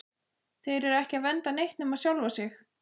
Þeir eru ekki að vernda neitt nema sjálfa sig!